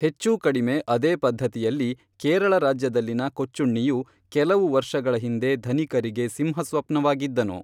ಹೆಚ್ಚೂಕಡಿಮೆ ಅದೇ ಪದ್ಧತಿಯಲ್ಲಿ ಕೇರಳ ರಾಜ್ಯದಲ್ಲಿನ ಕೊಚ್ಚುಣ್ಣಿಯು ಕೆಲವು ವರ್ಷಗಳ ಹಿಂದೆ ಧನಿಕರಿಗೆ ಸಿಂಹ ಸ್ವಪ್ನವಾಗಿದ್ದನು